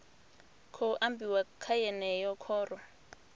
khou ambiwa kha yeneyi khoro